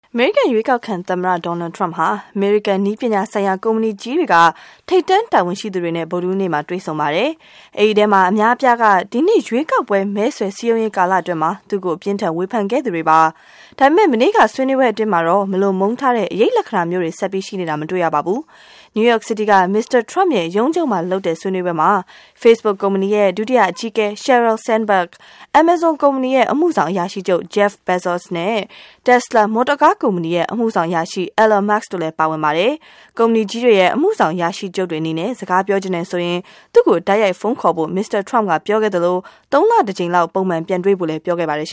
အမေရိကန်ရွေးကောက်ခံသမ္မတ Donald Trump ဟာ အမေရိကန် နည်းပညာဆိုင်ရာ ကုမ္ပဏီကြီးတွေက ထိပ်တန်းတာဝန်ရှိသူ တွေနဲ့ ဗုဒ္ဓဟူးနေ့က တွေ့ဆုံပါတယ်။ အဲဒီထဲက အများအပြားဟာ ဒီနှစ် ရွေးကောက်ပွဲ မဲဆွယ်စည်းရုံးရေးကာလအတွင်း သူ့ကို အပြင်းအထန် ဝေဖန်ခဲ့သူတွေပါ။ ဒါပေမဲ့ မနေ့ကဆွေးနွေးပွဲအတွင်းမှာတော့ မလိုမုန်းထားတဲ့ အရိပ်လက္ခဏာမျိုးတွေ ဆက်ပြီး ရှိနေတာ မတွေ့ရပါဘူး။ နယူးယောက်စီးတီးက မစ္စတာ Trump ရဲ့ ရုံးချုပ်မှာလုပ်တဲ့ ဆွေးနွေးပွဲမှာ Facebook ကုမ္ပဏီရဲ့ ဒုတိယအကြီးအကဲ Sheryl Sandberg, Amazon ကုမ္ပဏီရဲ့ အမှုဆောင်အရာရှိချုပ် Jeff Bezos နဲ့ Tesla မော်တော်ကားကုမ္ပဏီရဲ့ အမှုဆောင်အရာရှိချုပ် Elon Musk တို့လည်း ပါဝင်ပါတယ်။ ကုမ္ပဏီကြီးတွေရဲ့ အမှုဆောင်အရာရှိချုပ်တွေအနေနဲ့ စကားပြောချင်တယ်ဆိုရင် သူ့ကို တိုက်ရိုက်ဖုန်းခေါ်ဖို့ မစ္စတာ Trump က ပြောခဲ့သလို သုံးလတကြိမ်လောက် ပုံမှန် ပြန်တွေ့ကြဖို့လည်း ပြောပါတယ်။